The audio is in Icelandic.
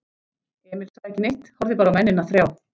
Emil sagði ekki neitt, horfði bara á mennina þrjá.